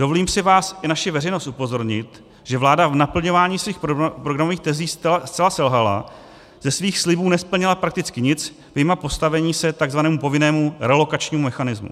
Dovolím si vás i naši veřejnost upozornit, že vláda v naplňování svých programových tezí zcela selhala, ze svých slibů nesplnila prakticky nic, vyjma postavení se tzv. povinnému relokačnímu mechanismu.